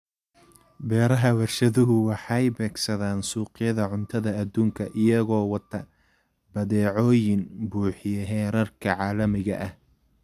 Beeraha warshaduhu waxay beegsadaan suuqyada cuntada adduunka iyagoo wata badeecooyin buuxiya heerarka caalamiga ah.